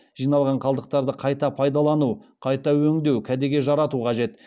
жиналған қалдықтарды қайта пайдалану қайта өңдеу кәдеге жарату қажет